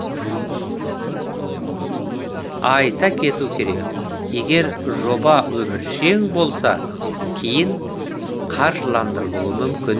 айта кету керек егер жоба өміршең болса кейін қаржыландырылуы мүмкін